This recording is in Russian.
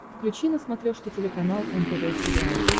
включи на смотрешке телеканал нтв сериал